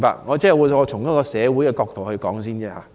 我只是先從社會的角度發言。